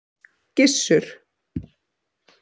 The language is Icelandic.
Gissur